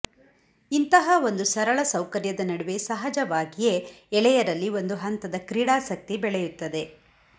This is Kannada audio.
ಇಂತಹ ಒಂದು ಸರಳ ಸೌಕರ್ಯದ ನಡುವೆ ಸಹಜವಾಗಿಯೇ ಎಳೆಯರಲ್ಲಿ ಒಂದು ಹಂತದ ಕ್ರೀಡಾಸಕ್ತಿ ಬೆಳೆಯುತ್ತದೆ